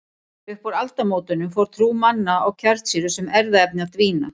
Upp úr aldamótunum fór trú manna á kjarnsýru sem erfðaefni að dvína.